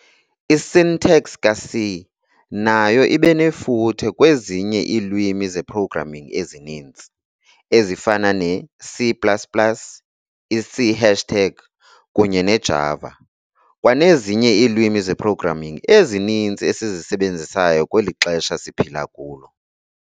I-syntax ka-C nayo ibenefuthe kwezinye iilwimi ze-programming ezininzi, ezifana ne-C plus plus, i-C hashtag, kunye ne-Java, kwanezinye iilwimi ze-programming ezininzi esizisebenzisayo kweli xesha siphila kulo.